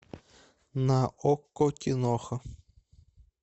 на окко киноха